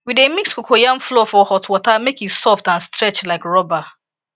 we dey mix cocoyam flour for hot water make e soft and stretch like rubber